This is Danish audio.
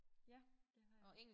Ja det havde jeg